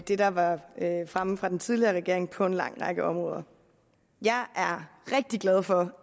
det der var fremme fra den tidligere regering på en lang række områder jeg er rigtig glad for